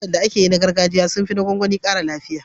Lemukan da ake yi na gargajiya sun fi na gwangwani ƙara lafiya.